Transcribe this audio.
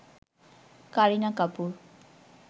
Kareena Kapoor